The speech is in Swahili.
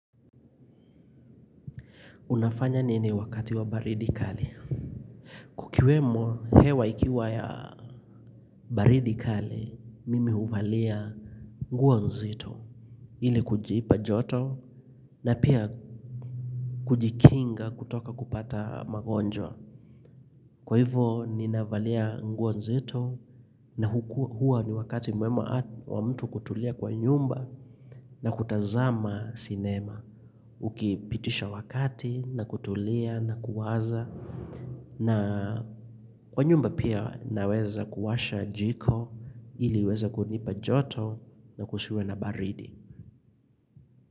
Unafanya nini wakati wa baridi kali? Kukiwemo hewa ikiwa ya baridi kali, mimi huvalia nguo nzito. Ili kujipa joto na pia kujikinga kutoka kupata magonjwa. Kwa hivyo ninavalia nguo nzito na huwa ni wakati mwema wa mtu kutulia kwa nyumba na kutazama sinema. Ukipitisha wakati na kutulia na kuwaza. Na kwa nyumba pia naweza kuwasha jiko ili iweze kunipa joto na kusiwe na baridi.